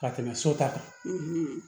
Ka tɛmɛ so ta kan